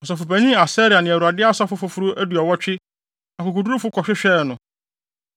Ɔsɔfopanyin Asaria ne Awurade asɔfo foforo aduɔwɔtwe, akokodurufo kɔhwehwɛɛ no.